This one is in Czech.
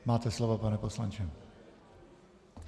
Máte slovo, pane poslanče.